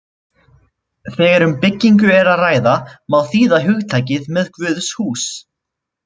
Þegar um byggingu er að ræða má þýða hugtakið með guðshús.